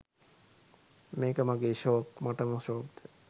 මේක මගේ ෂෝක් මටම ෂෝක්ද?